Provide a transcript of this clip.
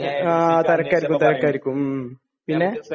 ങാ..തെരക്കായിരിക്കും, തിരക്കായിരിക്കും.പിന്നെ?